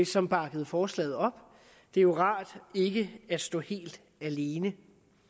som bakkede forslaget op det er jo rart ikke at stå helt alene